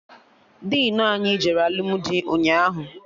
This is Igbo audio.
Dinu anyị jere alụmdi ụnyaahụ